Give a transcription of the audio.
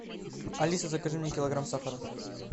алиса закажи мне килограмм сахара